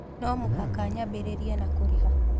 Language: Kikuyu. No mũhaka nyambĩrĩrie na kũrĩha